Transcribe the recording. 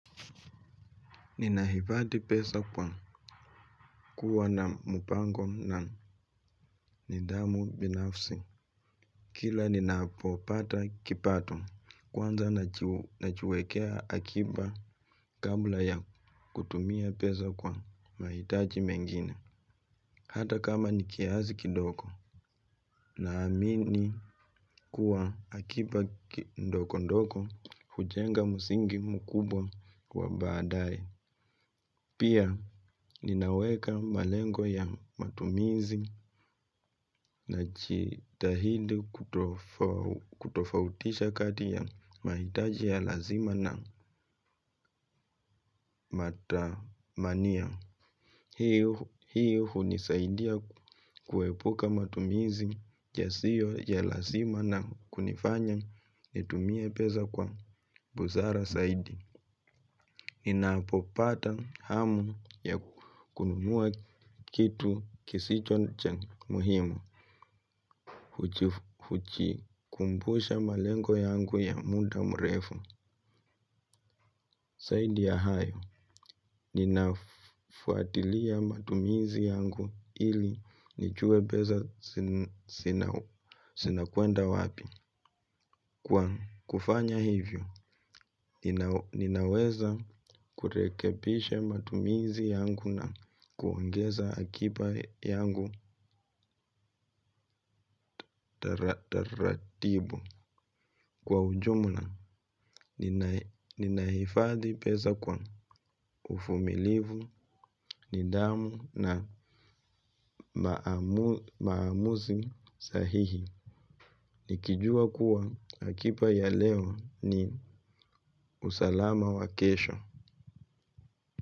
Ninaifati pesa kwa kuwa na mupango na nidamu binafsi. Kila ninaapopata kipato kwanza na chuekea akiba kabla ya kutumia pesa kwa maitaji mengine. Hata kama nikiazi kidoko na amini kuwa akiba ndoko ndoko hujenga musingi mukubwa kwa badai. Pia ninaweka malengo ya matumizi na chitahidi kutofautisha kati ya maitaji ya lazima na matamania. Hii. Hiyo hunii saidia kuwepuka matumizi yasio ya lazima na kunifanya ni tumie peza kwa buzara saidi. Ninapopata hamu ya kununua kitu kisicho cha muhimu huchikumbusha malengo yangu ya muda mrefu. Saidi ya hayo ninafuatilia matumizi yangu ili nichue beza sinakuenda wapi. Kufanya hivyo ninaweza kurekebisha matumizi yangu na kuongeza akipa yangu taratibu. Kwa ujumula, ninaifadhi pesa kwa ufumilivu, nidamu na maamuzi sahihi. Nikijua kuwa akipa ya leo ni usalama wakesho.